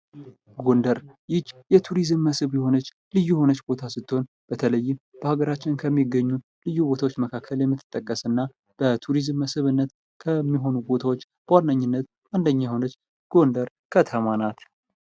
ጎንደር ይች የቱሪዝም መስህብ የሆነች ልዩ የሆነች ቦታ ስትሆን ፤በተለይ በሀገራችን ከሚገኙ ልዩ ቦታዎች መካከል የምትጠቀስ እና በቱሪዝም መስህብነት ከሚሆኑ ቦታዎች በዋነኝነት አንደኛ የሆነችው ጐንደር ከተማ ናት።